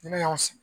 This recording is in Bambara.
Ni ne y'a sigi